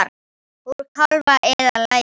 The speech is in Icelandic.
Úr kálfa eða læri!